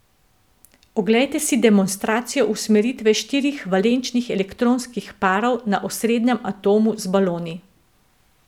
Oglejte si demonstracijo usmeritve štirih valenčnih elektronskih parov na osrednjem atomu z baloni.